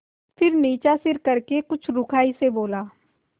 फिर नीचा सिर करके कुछ रूखाई से बोला